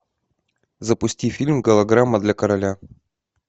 запусти фильм голограмма для короля